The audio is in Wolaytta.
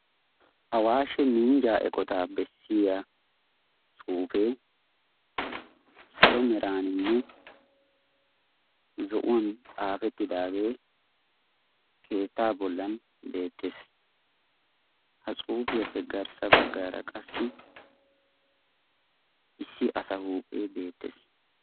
Awaashshe minjjaa eqotaa bessiyaa tsuufee salo meraaninne zo'uwaan xaafettidagee keettaa bollan beettees. ha tsuufiyaappe garssa baggara qassi issi asa huuphphee beettees.